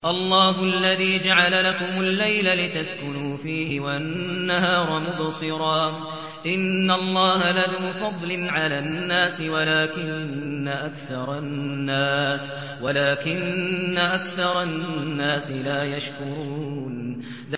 اللَّهُ الَّذِي جَعَلَ لَكُمُ اللَّيْلَ لِتَسْكُنُوا فِيهِ وَالنَّهَارَ مُبْصِرًا ۚ إِنَّ اللَّهَ لَذُو فَضْلٍ عَلَى النَّاسِ وَلَٰكِنَّ أَكْثَرَ النَّاسِ لَا يَشْكُرُونَ